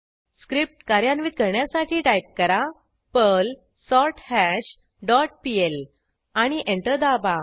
script कार्यान्वित करण्यासाठी type करा पर्ल सोर्थाश डॉट पीएल आणि एंटर दाबा